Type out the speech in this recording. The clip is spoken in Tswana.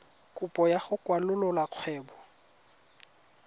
kopo ya go kwalolola kgwebo